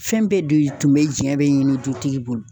Fɛn bɛɛ de tun bɛ diɲɛ be ɲini dutigi bolo.